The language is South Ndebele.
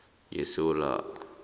ngesewula